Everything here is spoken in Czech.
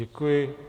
Děkuji.